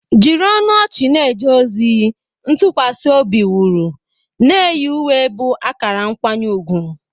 Jiri ọnụ ọchị na-eje ozi, ntụkwasị obi wuru, na-eyi uwe bụ akara nkwanye ùgwù.